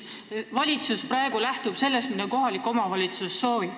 Valitsus lähtub praegu sellest, mida kohalik omavalitsus soovib.